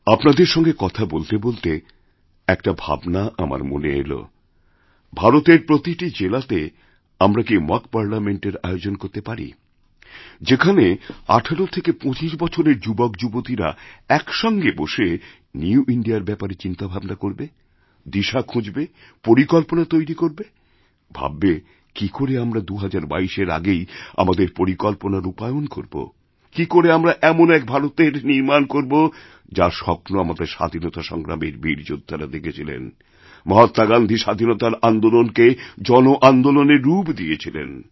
আপনাদের সঙ্গে কথা বলতে বলতে একটা ভাবনা আমার মনে এলভারতের প্রতিটি জেলাতে আমরা কি মক পার্লামেন্ট এর আয়োজন করতে পারি যেখানে ১৮ থেকে ২৫বছরের যুবকযুবতীরা একসঙ্গে বসে নিউ ইন্দিয়া র ব্যাপারে চিন্তাভাবনা করবে দিশাখুঁজবে পরিকল্পনা তৈরি করবে ভাববে কি করে আমরা ২০২২এর আগেই আমাদের পরিকল্পনারূপায়ন করবো কি করে আমরা এমন এক ভারতের নির্মাণ করব যার স্বপ্ন আমাদের স্বাধীনতাসংগ্রামের বীর যোদ্ধারা দেখেছিলেন মহাত্মা গান্ধী স্বাধীনতার আন্দোলনকেজনআন্দোলনের রূপ দিয়েছিলেন